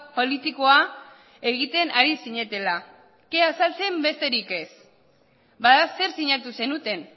politikoa egiten ari zinetela kea saltzen besterik ez bada zer sinatu zenuten